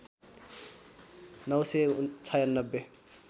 ९ सय ९६